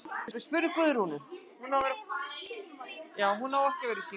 Hann var afburðagreindur, hlýr í viðkynningu og tryggur vinur vina sinna.